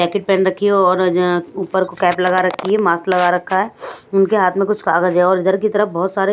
jacket पहन रखी है और यं ऊपर कैप लगा रखी है मास्क लगा रखा है उनके हाथ में कुछ कागज है और इधर की तरफ बहुत सारे--